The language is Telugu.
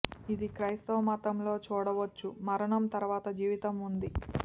ఇది క్రైస్తవ మతం లో చూడవచ్చు మరణం తరువాత జీవితం ఉంది